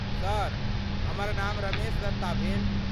Sir, हमर नाम रमेश दत्ता भेल।